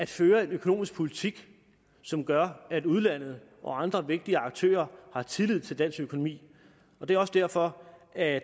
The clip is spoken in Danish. føre en økonomisk politik som gør at udlandet og andre vigtige aktører har tillid til dansk økonomi og det er også derfor at